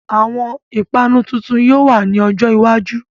Àwọn ìpanu tuntun yóò wá ní ọjọ́ iwájú